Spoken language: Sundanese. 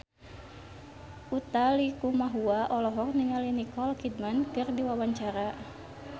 Utha Likumahua olohok ningali Nicole Kidman keur diwawancara